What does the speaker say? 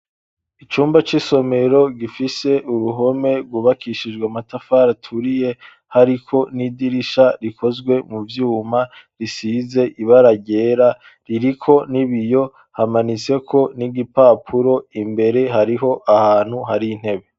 Icumba c'isomero, gifise uruhome, rwubakishijwe matafari aturiye, hariko n'idirisha rikozwe mu vyuma, risize ibara ryera, ririko n'ibiyo; hamanitseko n'igipapuro, imbere, hariho ahantu hari intebe.